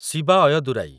Shiva Ayyadurai